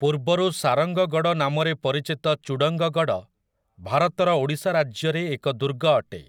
ପୂର୍ବରୁ ସାରଙ୍ଗଗଡ଼ ନାମରେ ପରିଚିତ ଚୁଡଙ୍ଗ ଗଡ଼, ଭାରତର ଓଡ଼ିଶା ରାଜ୍ୟରେ ଏକ ଦୁର୍ଗ ଅଟେ ।